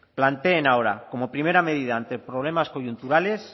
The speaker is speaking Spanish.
planteen ahora como primera medida ante problemas coyunturales